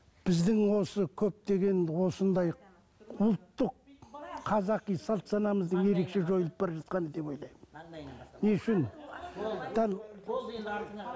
біздің осы көптеген осындай ұлттық қазақи салт санамыздың ерекше жойылып бара жатқаны деп ойлаймын